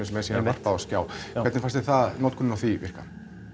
sem er síðan varpað á skjá hvernig fannst þér notkunin á því virka